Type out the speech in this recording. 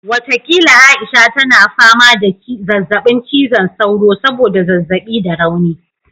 Watakila Aisha tana fama da zazzabin cizon sauro saboda zazzabi da rauni